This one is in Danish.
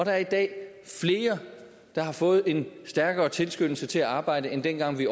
er i dag flere der har fået en stærkere tilskyndelse til at arbejde end dengang vi